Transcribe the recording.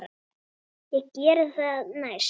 Ég geri það næst.